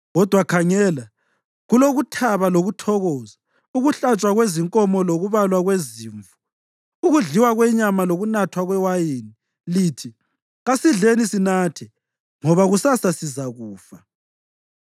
Kodwa khangela, kulokuthaba lokuthokoza, ukuhlatshwa kwezinkomo lokubalwa kwezimvu, ukudliwa kwenyama lokunathwa kwewayini! Lithi, “Kasidleni sinathe, ngoba kusasa sizakufa!”